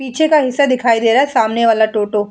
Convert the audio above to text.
पीछे का हिस्सा दिखाई दे रहा है। सामने वाला टोटों --